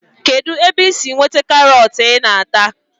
Kedụ ebe i si nweta karọt ị na-ata